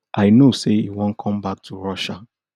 i know say e wan come back to russia